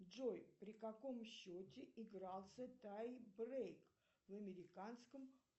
джой при каком счете игрлася тай брейк в американском